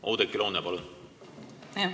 Oudekki Loone, palun!